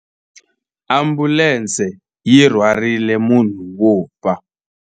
Ambulense yi rhwarile munhu wo fa.